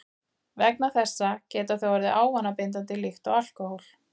Vegna þessa geta þau orðið ávanabindandi líkt og alkóhól.